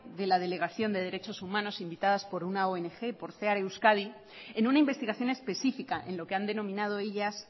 de la delegación de derechos humanos invitadas por una ong por cear euskadi en una investigación específica en lo que han denominado ellas